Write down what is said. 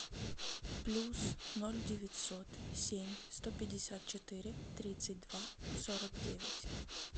плюс ноль девятьсот семь сто пятьдесят четыре тридцать два сорок девять